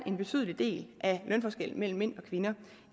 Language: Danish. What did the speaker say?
en betydelig del af lønforskellen mellem mænd og kvinder